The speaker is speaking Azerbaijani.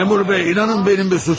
Məmurlar, inanın mənim bir suçum yox.